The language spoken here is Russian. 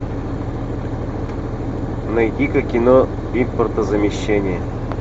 найди ка кино импортозамещение